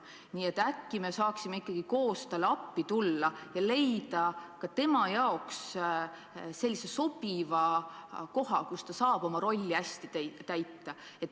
Nii et äkki me saaksime ikkagi koos talle appi minna ja leida ka temale sobiva koha, kus ta saab oma rolli hästi täita.